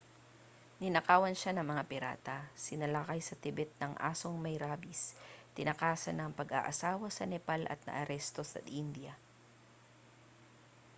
ninakawan siya ng mga pirata sinalakay sa tibet ng asong may rabis tinakasan ang pag-aasawa sa nepal at naaresto sa india